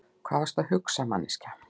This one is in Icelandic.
Hvað varstu að hugsa, manneskja?